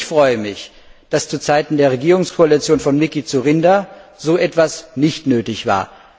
Ich freue mich, dass zu Zeiten der Regierungskoalition von Mikuláš Dzurinda so etwas nicht nötig war.